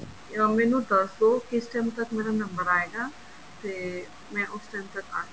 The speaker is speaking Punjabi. ਉਹ ਮੈਨੂੰ ਦੱਸਦੋ ਕਿਸ time ਤੱਕ ਮੇਰਾ ਨੰਬਰ ਆਏਗਾ ਤੇ ਮੈਂ ਉਸ time ਤੱਕ ਆਜਾਂਗੀ